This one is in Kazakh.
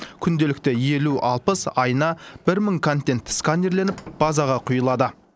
күнделікті елу алпыс айына бір мың контент сканерленіп базаға құйылады